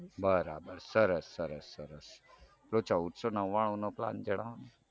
બરાબર સરસ સરસ સરસ પેલો ચૌદસો નવ્વાણુનો plan જણાવોને